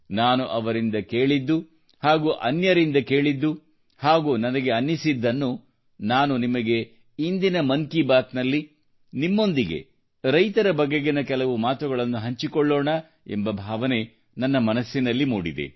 ನಾನು ಅವರಿಂದ ಕೇಳಿದ್ದು ಹಾಗೂ ಅನ್ಯರಿಂದ ಕೇಳಿದ್ದು ಹಾಗೂ ನನಗೆ ಅನಿಸಿದ್ದನ್ನು ನಾನು ನಿಮಗೆ ಇಂದಿನ ಮನ್ಕಿಬಾತ್ನಲ್ಲಿ ನಿಮ್ಮೊಂದಿಗೆ ರೈತರ ಬಗೆಗಿನ ಕೆಲವು ಮಾತುಗಳನ್ನು ಹಂಚಿಕೊಳ್ಳೋಣ ಎಂಬ ಭಾವನೆ ನನ್ನ ಮನಸ್ಸಿನಲ್ಲಿ ಮೂಡಿದೆ